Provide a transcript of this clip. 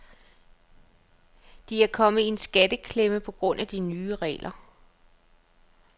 De er kommet i en skatteklemme på grund af de nye regler.